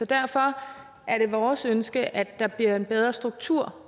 derfor er det vores ønske at der bliver en bedre struktur